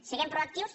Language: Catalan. siguem proactius